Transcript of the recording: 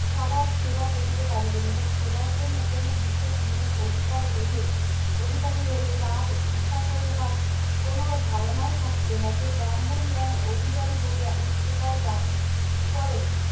সবার সেবা করিতে পারিবেন এবং সেবার জন্য কোনো বিশেষ গুণের অধিকার হইলে অধিকারী হইলে তারা ঈর্ষা করে তার কোনো ধারণাই থাকিবে না সে ব্রাহ্মণ জ্ঞানের অধিকারী বলিয়া উচ্চতার দাবি করে